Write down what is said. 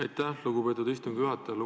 Aitäh, lugupeetud istungi juhataja!